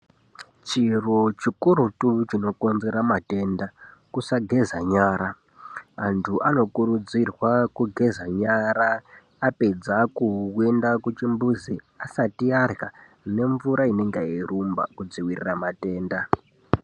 Chiro chikurutu chinokonzera matenda kusageza nyara, vanthu vanokurudzirwa kugeza nyara apedza kuenda kuchimbuzi asati arya nemvura inenge yeirumba kudzivirira matenda.